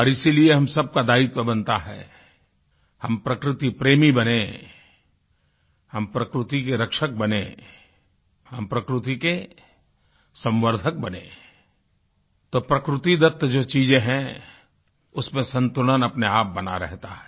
और इसीलिये हम सबका दायित्व बनता है हम प्रकृति प्रेमी बनें हम प्रकृति के रक्षक बनें हम प्रकृति के संवर्धक बनें तो प्रकृतिदत्त जो चीज़े हैं उसमें संतुलन अपने आप बना रहता है